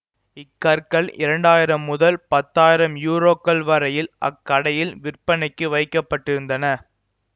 இக்கற்கள் இரண்டாயிரம் முதல் பத்தாயிரம் யூரோக்கள் வரையில் அக்கடையில் விற்பனைக்கு வைக்க பட்டிருந்தன